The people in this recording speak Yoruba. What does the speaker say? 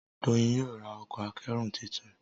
Doyin yóò rá Ọkọ̀ akẹ́rù títún.